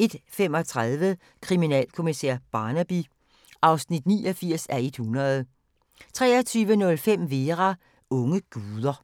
21:35: Kriminalkommissær Barnaby (89:100) 23:05: Vera: Unge guder